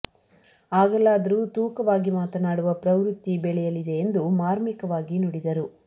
ಆಗಲಾದರೂ ತೂಕವಾಗಿ ಮಾತನಾಡುವ ಪ್ರವೃತ್ತಿ ಬೆಳೆಯ ಲಿದೆ ಎಂದು ಮಾರ್ಮಿಕವಾಗಿ ನುಡಿದರು